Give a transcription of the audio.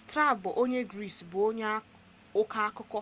strabo onye gris bụ onye ọkọ akụkọ